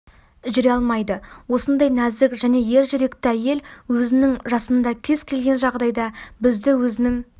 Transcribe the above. жүре алмайды осындай нәзік және ер жүректі әйел өзінің жасында кез келген жағдайда бізді өзінің